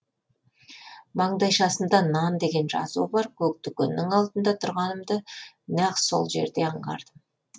маңдайшасында нан деген жазуы бар көк дүкеннін алдында тұрғанымды нақ сол жерде аңғардым